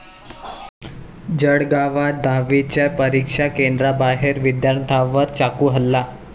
जळगावात दहावीच्या परीक्षा केंद्राबाहेर विद्यार्थ्यांवर चाकू हल्ला